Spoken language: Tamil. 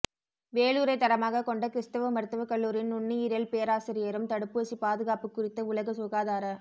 வேலூரை தளமாகக் கொண்ட கிறிஸ்தவ மருத்துவக் கல்லூரியின் நுண்ணுயிரியல் பேராசிரியரும் தடுப்பூசி பாதுகாப்பு குறித்த உலக சுகாதார